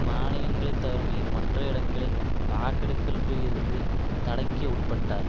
மானிலங்களைத் தவிர மற்ற இடங்களில் வாக்கெடுப்பில் இருந்து தடைக்கு உட்பட்டார்